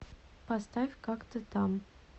поставь как ты там